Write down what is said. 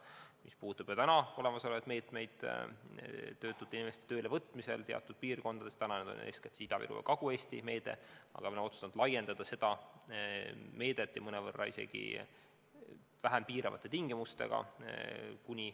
Mis puudutab juba olemasolevaid meetmeid töötute inimeste töölevõtmisel teatud piirkondades – eeskätt Ida-Virumaal ja Kagu-Eestis –, siis me oleme otsustanud seda meedet laiendada ja mõnevõrra isegi vähem piiravate tingimustega.